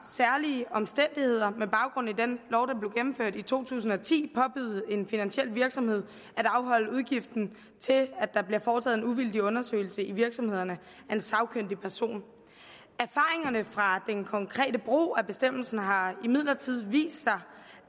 særlige omstændigheder med baggrund i den lov der blev gennemført i to tusind og ti påbyde en finansiel virksomhed at afholde udgiften til at der bliver foretaget en uvildig undersøgelse i virksomheden af en sagkyndig person erfaringerne konkrete brug af bestemmelsen har imidlertid vist